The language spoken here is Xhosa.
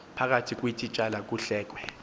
phakathi kweetitshala kuhlekwe